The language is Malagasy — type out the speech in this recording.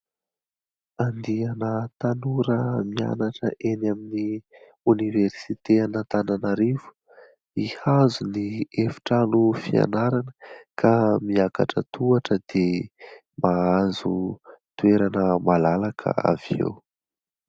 Andiana tanora mianatra eny amin'ny oniversiten' Antananarivo hihazo ny efitrano fianarana ka miakatra tohatra dia mahazo toerana malalaka avy eo.